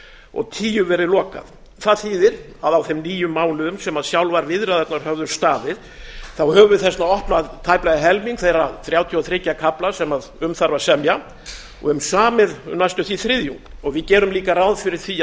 og tíu verið lokað það þýðir að á þeim níu mánuðum sem sjálfar viðræðurnar höfðu staðið höfum við þess vegna opnað tæplega helming þeirra þrjátíu og þrjá kafla sem um þarf að semja og höfum samið um næstum því þriðjung við gerum líka ráð fyrir því